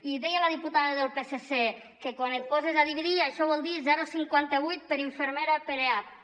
i deia la diputada del psc que quan et poses a dividir això vol dir zero coma cinquanta vuit per infermera per eap